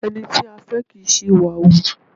Ẹni tí a fẹ́ kì í ṣí ìwà hù.